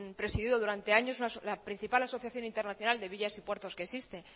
presidido durante años la principal asociación internacional de villas y puertos que existe